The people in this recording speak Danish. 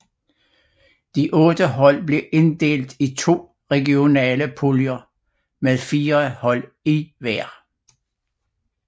De otte hold blev inddelt i to regionale puljer med fire hold i hver